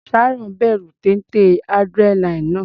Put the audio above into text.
Sharon bẹ̀rù téńté adrenaline náà.